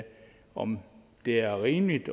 om det er rimeligt